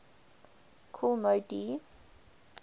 kool moe dee